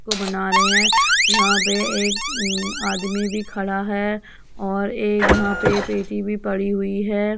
को बना रहे हैं | यहाँ पर एक आदमी भी खड़ा है और एक यहाँ पर पेटी भी पड़ी हुई है ।